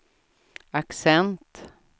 accent